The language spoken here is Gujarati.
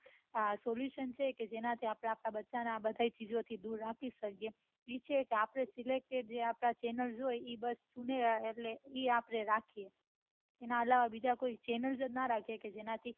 આ pollution છે જેનાથી આપડા બચ્ચા ને આ બઘા ચીજો થી દુર રાખી શકો નીચી આપદા સિલેક્ટેડ chanel લો હોય એ આપડે રાખીએ અને બીજા કોઈ chanel જ ણ રાખી એ